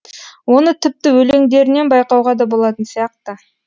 оны тіпті өлеңдерінен байқауға да болатын сияқты